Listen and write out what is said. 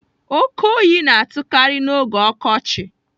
Oke oyi na-atụkarị n'oge ọkọchị.